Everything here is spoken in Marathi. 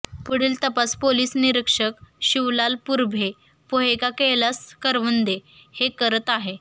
पुढील तपास पोलिस निरीक्षक शिवलाल पुरभे पोहेका कैलास करवंदे हे करत आहे